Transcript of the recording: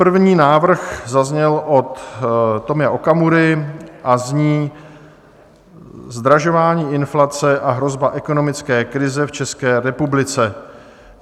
První návrh zazněl od Tomia Okamury a zní Zdražování, inflace a hrozba ekonomické krize v České republice.